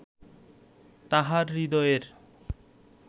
তাঁহার হৃদয়ের